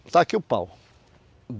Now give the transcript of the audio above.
Está aqui o pau.